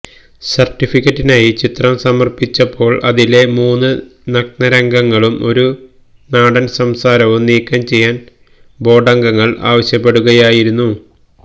സര്ട്ടിഫിക്കറ്റിനായി ചിത്രം സമര്പ്പിച്ചപ്പോള് അതിലെ മൂന്ന് നഗ്നരംഗങ്ങളും ഒരു നാടന് സംസാരവും നീക്കം ചെയ്യാന് ബോര്ഡംഗങ്ങള് ആവശ്യപ്പെടുകയായിരുന്നു